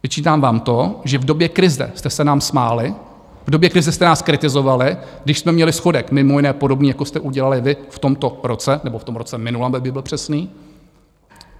Vyčítám vám to, že v době krize jste se nám smáli, v době krize jste nás kritizovali, když jsme měli schodek mimo jiné podobný, jako jste udělali vy v tomto roce, nebo v tom roce minulém, abych byl přesný.